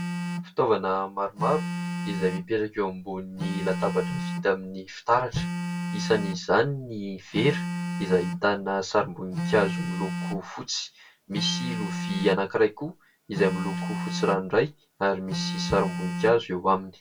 Fitaovana maromaro izay mipetraka eo ambony latabatra vita amin'ny fitaratra ; isan'izany ny vera izay ahitana sarim-bonikazo miloko fotsy ; misy lovia anankiray koa izay miloko fotsy ranoray ary misy sarim-boninkazo eo aminy.